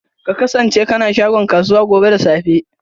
Ka kasance kana shagon kasuwa gobe da safe.